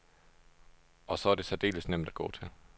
Og så er det særdeles nemt at gå til.